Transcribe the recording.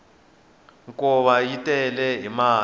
minkova yi tele hi mati